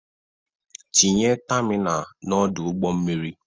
Tinye tamina n'Ọdụ ụgbọ mmiri!